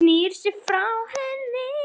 Hann snýr sér frá henni.